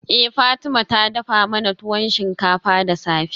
Eh Fatima ta dafa mana tuwo shinkafa da safe.